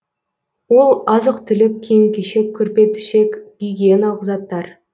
ол азық түлік киім кешек көрпе төсек гигиеналық заттар